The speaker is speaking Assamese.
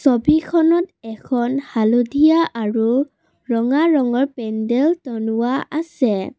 ছবিখনত এখন হালধীয়া আৰু ৰঙা ৰঙৰ পেণ্ডেল টনোৱা আছে।